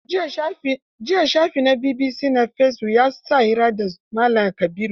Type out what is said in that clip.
Jiya shafin BBC na fesibuk ya sa hira da Malam Kabiru.